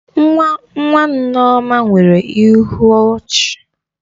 Nwa nwa Nneoma nwere ịhụ ọchi.